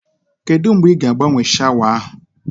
Kedụ mgbe ị ga agbanwe shawa ahụ